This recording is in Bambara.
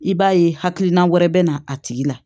I b'a ye hakilina wɛrɛ bɛ na a tigi la